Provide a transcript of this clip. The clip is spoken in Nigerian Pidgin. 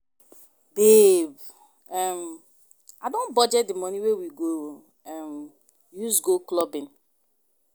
Babe um I don budget the money wey we go um use go clubbing